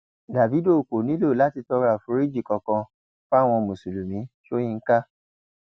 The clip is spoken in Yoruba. dávido kò nílò láti tọrọ àforíjì kankan fáwọn mùsùlùmí sọyìnkà